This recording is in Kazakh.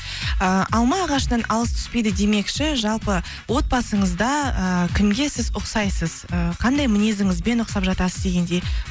э алма ағашынан алыс түспейді демекші жалпы отбасыңызда э кімге сіз ұқсайсыз э қандай мінезіңізбен ұқсап жатасыз дегендей